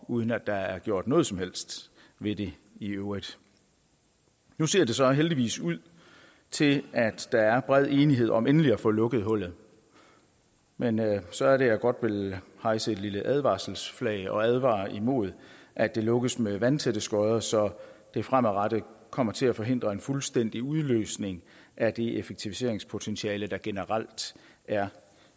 uden at der er gjort noget som helst ved det i øvrigt nu ser det så heldigvis ud til at der er bred enighed om endelig at få lukket hullet men så er det jeg godt vil hejse et lille advarselsflag og advare imod at det lukkes med vandtætte skotter så det fremadrettet kommer til at forhindre en fuldstændig udløsning af det effektiviseringspotentiale der generelt er